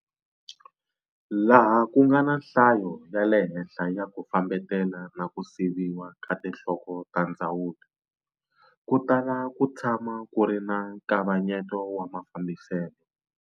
Laha ku nga na nhlayo ya le henhla ya ku fambetela na ku siviwa ka tinhloko ta tindzawulo, ku tala ku tshama ku ri na nkavanyeto wa mafambiselo.